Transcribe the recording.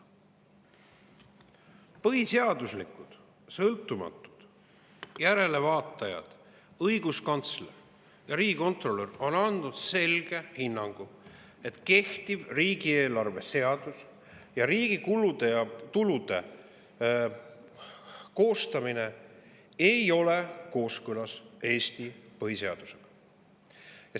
Põhiseaduslikkuse sõltumatud järelevaatajad õiguskantsler ja riigikontrolör on andnud selge hinnangu, et kehtiv riigieelarve seadus, riigi kulude ja tulude koostamine ei ole kooskõlas Eesti põhiseadusega.